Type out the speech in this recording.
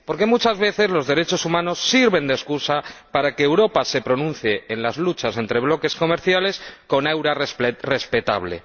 Porque muchas veces los derechos humanos sirven de excusa para que Europa se pronuncie en las luchas entre bloques comerciales con un aura respetable.